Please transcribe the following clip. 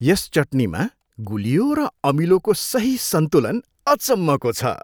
यस चटनीमा गुलियो र अमिलोको सही सन्तुलन अचम्मको छ।